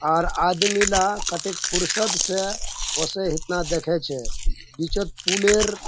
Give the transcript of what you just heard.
आर आदमीला कतेक फुर्सत से हताना देखे छे बीचोत पुलेर --